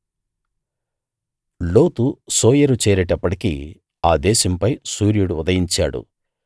లోతు సోయరు చేరేటప్పటికి ఆ దేశంపై సూర్యుడు ఉదయించాడు